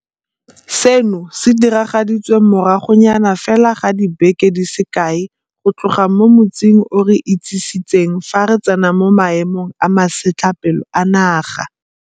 Seno se diragaditswe moragonyana fela ga dibeke di se kae go tloga mo motsing o re itsisitseng fa re tsena mo Maemong a Masetlapelo a Naga.